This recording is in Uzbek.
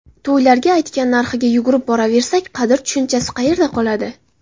To‘ylarga aytgan narxiga yugurib boraversak, qadr tushunchasi qayerda qoladi?